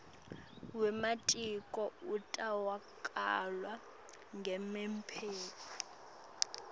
wematiko utawukalwa ngemiphumela